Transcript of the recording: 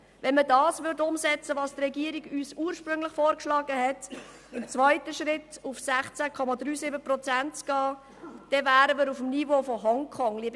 Würde man umsetzen, was die Regierung uns ursprünglich vorgeschlagen hatte, nämlich im zweiten Schritt auf 16,37 Prozent zu gehen, würden wir uns auf dem Niveau von Hongkong bewegen.